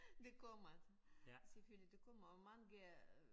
De kommer selvfølgelig de kommer og mange